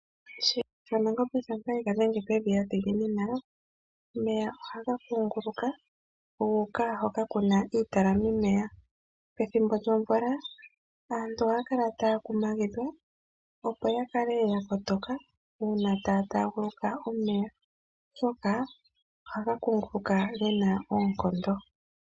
Shiyenga shaNangombe shampa sheya dhenge pevi yadhiginina omeya ohaga kunguluka guka hola kuna iitalamimeya. Pethimbo lyomvula aantu ohaya kumagidhwa opo ya kale yakotoka uuna taya taaguluka omeya oshoka ohaga kunguluka gena oonkondo.